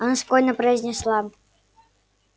она спокойно произнесла